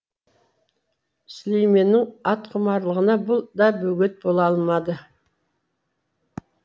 сүлейменнің атқұмарлығына бұл да бөгет бола алмады